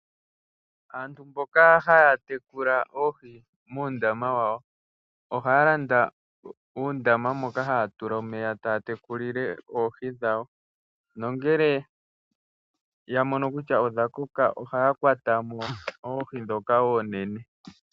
Aantu mboka haa tekula oohi muundama wawo ohaa landa uundama moka haa tula omeya taa tekulile oohi dhawo. Nongele ya mono kutya odha koka ohaa kwata mo oohi ndhoka oonene.